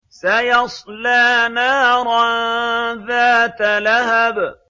سَيَصْلَىٰ نَارًا ذَاتَ لَهَبٍ